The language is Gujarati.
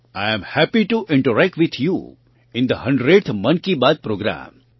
I am happy to interact with you in the 100thMann Ki Baat programme